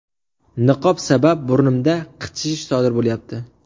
Niqob sabab burnimda qichishish sodir bo‘lyapti.